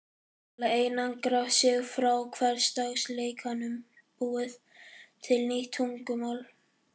Til að einangra sig frá hversdagsleikanum búið til nýtt tungumál